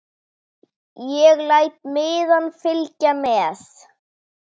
Ég læt miðann fylgja með.